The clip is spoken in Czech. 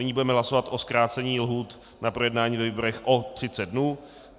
Nyní budeme hlasovat o zkrácení lhůt na projednání ve výborech o 30 dnů.